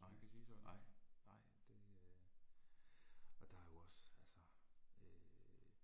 Nej, nej, nej det øh. Og der jo også altså øh